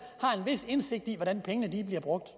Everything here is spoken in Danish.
har en vis indsigt i hvordan pengene er blevet brugt